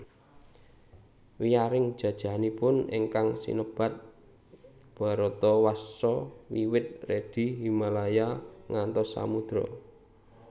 Wiyaring jajahanipun ingkang sinebat Bharatawarsha wiwit Redi Himalaya ngantos Samudra